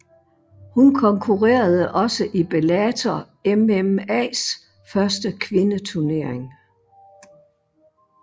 Hun konkurrerede også i Bellator MMAs første kvindeturnering